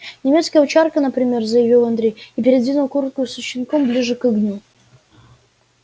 немецкая овчарка например заявил андрей и придвинул куртку со щенком поближе к огню